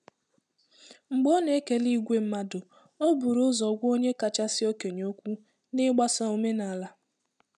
Mgbe ọ na-ekele ìgwè mmadụ, o buru ụzọ gwa onye kachasị okenye okwu, n'igbaso omenala.